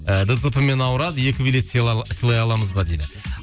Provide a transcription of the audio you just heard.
ыыы дцп мен ауырады екі билет сыйлай аламыз ба дейді